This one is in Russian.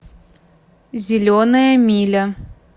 зеленая миля